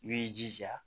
I b'i jija